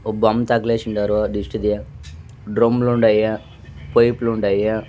ఒ బొమ్మ తగలేసుండారు దిష్టిది డ్రమ్ములుండాయి పైపులుండాయ .